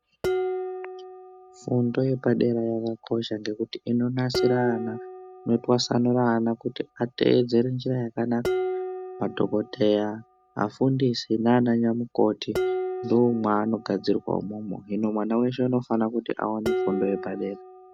Fundo yepadera yakakosha nekuti inonasira ana inotwasanura ana kuti ateedzere njira yakanaka madhokodheya afundisi nana nyamukoti ndoomwaanogadzirwa umwomwo hino mwana weshe unofana kuti aone fundo yepadera.